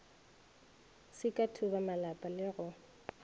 se ka thubamalapa le go